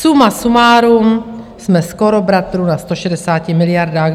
Suma sumárum jsme skoro bratru na 160 miliardách.